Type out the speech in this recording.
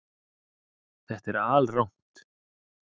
Þetta er alrangt